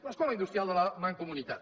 l’escola industrial de la mancomunitat